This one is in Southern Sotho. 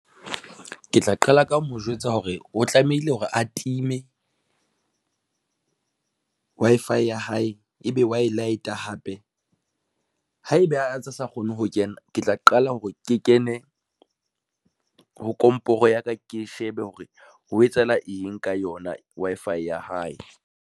Ke tla qala ka mo jwetsa hore o tlamehile hore atime Wi-Fi ya hae ebe wa e light-a hape haeba a ntse a sa kgone ho kena, ke tla qala hore ke kene ho komporo ya ka, ke shebe hore ho etsahala eng ka yona Wi-Fi ya hae.